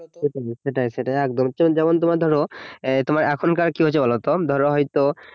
সেটাই সেটাই একদম যেমন তোমার ধরো তোমার এখনকার কি হচ্ছে বলতো ধরো হয়তো